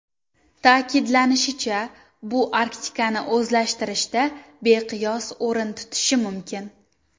Ta’kidlanishicha, bu Arktikani o‘zlashtirishda beqiyos o‘rin tutishi mumkin.